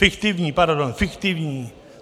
Fiktivní, pardon, fiktivní.